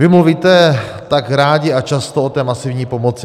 Vy mluvíte tak rádi a často o té masivní pomoci.